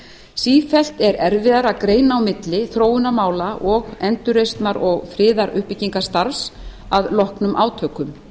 sífellt er erfiðara að greina á milli þróunarmála og endurreisnar og friðaruppbyggingarstarfs að loknum átökum